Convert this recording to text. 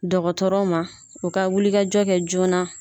Dɔkɔtɔrɔ ma, u ka wulikajɔ kɛ joona